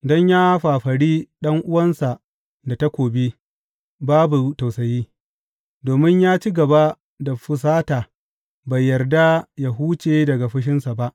Don ya fafari ɗan’uwansa da takobi, babu tausayi, domin ya ci gaba da fusata bai yarda yă huce daga fushinsa ba.